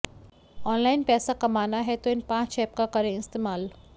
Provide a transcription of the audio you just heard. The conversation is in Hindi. ऑनलाइन पैसा कमाना है तो इन पांच ऐप का करें इस्तेमाल